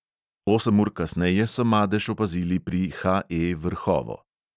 Osem ur kasneje so madež opazili pri HE vrhovo.